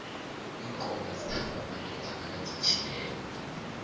inkobe zithandwa madoda nakaditjhileko